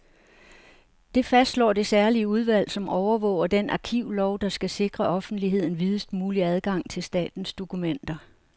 Det fastslår det særlige udvalg, som overvåger den arkivlov, der skal sikre offentligheden videst mulig adgang til statens dokumenter.